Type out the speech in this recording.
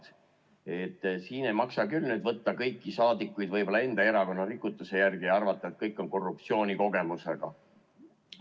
Nii et siin ei maksa küll võtta kõiki saadikuid enda erakonna rikutuse järgi ja arvata, et kõik on korruptsioonikogemusega.